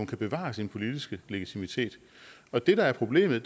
kan bevare sin politiske legitimitet og det der er problemet